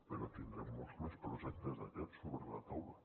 però tindrem molts més projectes d’aquests sobre la taula